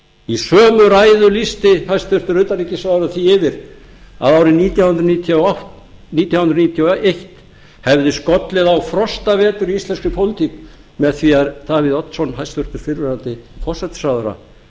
í sömu ræðu lýsti hæstvirts utanríkisráðherra því yfir að árið nítján hundruð níutíu og eitt hefði skollið á frostavetur í íslenskri pólitík með því að davíð oddsson hæstvirtur fyrrverandi forsætisráðherra